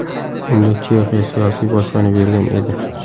Unga Chexiya siyosiy boshpana bergan edi.